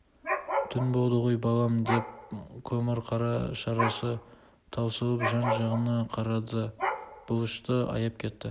түн болды ғой балам деп көмірқара шарасы таусылып жан-жағына қарады бұлышты аяп кетті